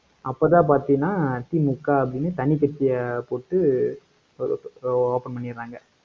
அப்பதான் பார்த்தீங்கன்னா, திமுக அப்படின்னு, தனிக்கட்சியைப் போட்டு, open பண்ணிடுறாங்க.